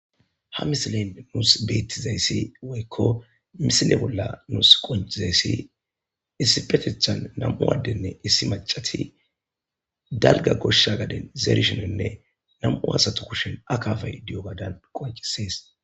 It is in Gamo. Ha misileni nusi betizays woyiko misile bolla nusi qonicizayis woyiko misile nus qonicizays issipetethan na'mu adeti issi macati daliga gosha gadeni na'mu asatu kusheni akabay de'ogadan qonicises